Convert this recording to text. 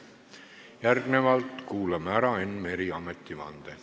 Järgnevalt kuulame ära Enn Mere ametivande.